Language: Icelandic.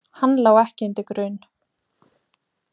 Hann lá ekki undir grun.